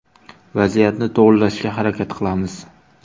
Vaziyatni to‘g‘irlashga harakat qilamiz.